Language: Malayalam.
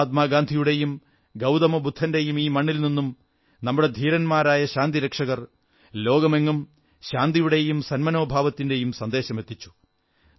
മഹാത്മാഗാന്ധിയുടെയും ഗൌതമബുദ്ധന്റെയും ഈ മണ്ണിൽ നിന്നും നമ്മുടെ ധീരരായ ശാന്തിരക്ഷകർ ലോകമെങ്ങും ശാന്തിയുടെയും സന്മനോഭാവത്തിന്റെയും സന്ദേശമെത്തിച്ചു